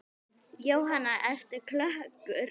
Jóhanna: Ertu klökkur?